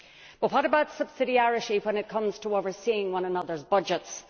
But what about subsidiarity when it comes to overseeing one another's budgets?